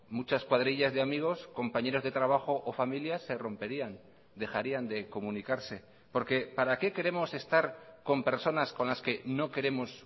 muchas cuadrillas de amigos compañeras de trabajo o familias se romperían dejarían de comunicarse porque para qué queremos estar con personas con las que no queremos